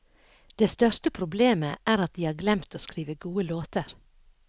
Det største problemet er at de har glemt å skrive gode låter.